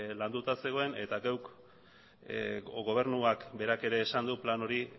landuta zegoen eta geuk o gobernuak berak ere esan du plan hori